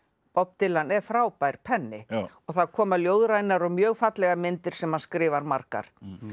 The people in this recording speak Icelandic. Bob Dylan er frábær penni og það koma ljóðrænar og mjög fallegar myndir sem hann skrifar margar